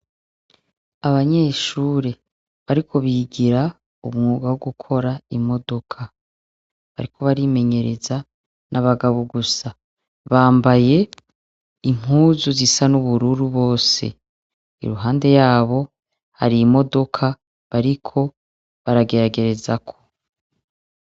Abanyeshure bariko bigira umwuga wo gukora imodoka. Bariko barimenyereza, ni abagabo gusa. Bambaye impuzu zisa n'ubururu bose. Impande yabo hari imodoka bariko barageragerezako.